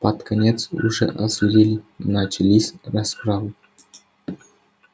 под конец уже озверели начались расправы